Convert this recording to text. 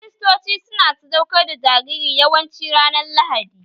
Kiristoci su na sadaukar da jariri yawanci ranar Lahadi